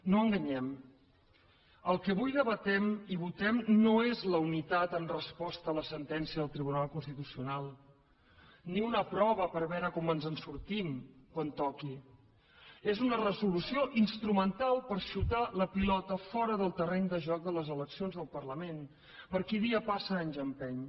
no enganyem el que avui debatem i votem no és la unitat en resposta a la sentència del tribunal constitucional ni una prova per veure com ens en sortim quan toqui és una resolució instrumental per xutar la pilota fora del terreny de joc de les eleccions del parlament per qui dia passa anys empeny